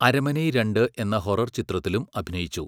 അരന്മനൈ രണ്ട് എന്ന ഹൊറർ ചിത്രത്തിലും അഭിനയിച്ചു.